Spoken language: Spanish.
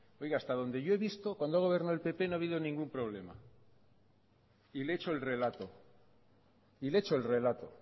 oiga hasta donde yo he visto cuando ha gobernado el pp no ha habido ningún problema y le he hecho el relato y le he hecho el relato